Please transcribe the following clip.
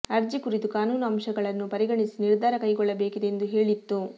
ಅರ್ಜಿ ಕುರಿತು ಕಾನೂನು ಅಂಶಗಳನ್ನೂ ಪರಿಗಣಿಸಿ ನಿರ್ಧಾರ ಕೈಗೊಳ್ಳಬೇಕಿದೆ ಎಂದು ಹೇಳಿತ್ತು